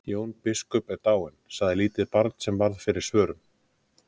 Jón biskup er dáinn, sagði lítið barn sem varð fyrir svörum.